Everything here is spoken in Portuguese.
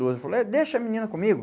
doze. Eu falei, deixa a menina comigo.